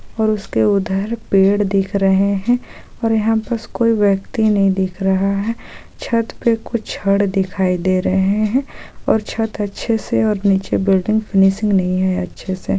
ओर उसके उधर पेड़ दिख रहे है और यहाँ बस कोई व्यक्ति नहीं दिख रहा है छत पे कुछ छड़ दिखाई दे रहे है और छत अच्छे से और नीचे बिल्डिंग फ़िनीसिंग नहीं है अच्छे से।